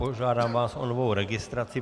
Požádám vás o novou registraci.